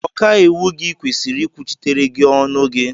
Ọkàiwu gị kwesịrị ikwuchitere gị ọnụ gi